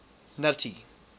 nuttie